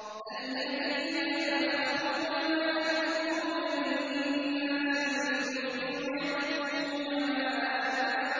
الَّذِينَ يَبْخَلُونَ وَيَأْمُرُونَ النَّاسَ بِالْبُخْلِ وَيَكْتُمُونَ مَا